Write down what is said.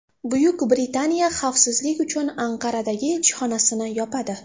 Buyuk Britaniya xavfsizlik uchun Anqaradagi elchixonasini yopadi.